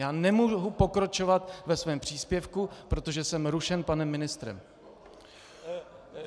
Já nemohu pokračovat ve svém příspěvku, protože jsem rušen panem ministrem.